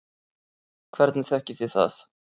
Hvernig þekkið þið það?